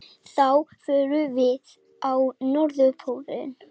Þá förum við á Norðurpólinn.